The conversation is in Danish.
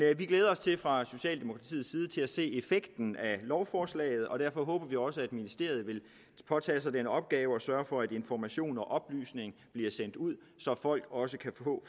fra socialdemokratiets side til at se effekten af lovforslaget og derfor håber vi også at ministeriet vil påtage sig den opgave at sørge for at information og oplysning bliver sendt ud så folk også kan